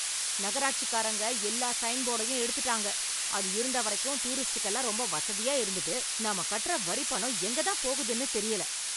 நகராட்சிக்காரங்க எல்லா சைன் போடையும் எடுத்துட்டாங்க, அது இருந்த வரைக்கும் டூரிஸ்டுக்கெல்லாம் ரொம்ப வசதியா இருந்தது. நம்ம கட்டற வரிப் பணம் எங்க தான் போகுதுன்னு தெரியல